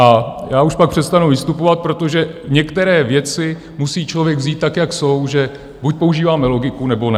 A já už pak přestanu vystupovat, protože některé věci musí člověk vzít tak, jak jsou, že buď používáme logiku, nebo ne.